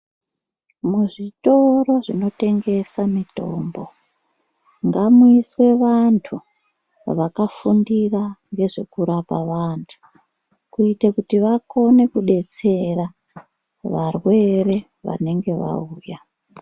Muzvitoro zvinotengesa mitombo ngamuiswe vantu vakafundira ngezvekurapa vantu, kuite kuti vakone kudetsera varwere vanenge vauya.